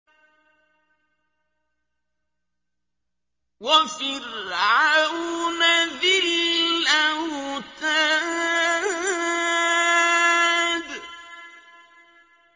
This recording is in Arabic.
وَفِرْعَوْنَ ذِي الْأَوْتَادِ